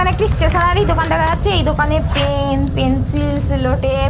এইখানে একটি স্টেশনারি দোকান দেখা যাচ্ছে এই দোকানে পেন পেন্সিল সেলোটেপ --